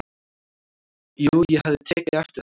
"""Jú, ég hafði tekið eftir þeim."""